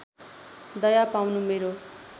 दया पाउनु मेरो